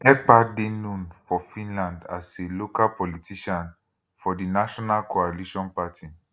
ekpa dey known for finland as a local politician for di national coalition party